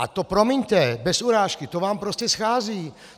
A to, promiňte, bez urážky, to vám prostě schází.